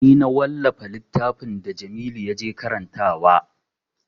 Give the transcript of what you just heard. Ni na wallafa littafin da jamilu ya je karantawa